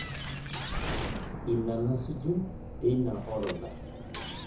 Ina nasuju teina orodha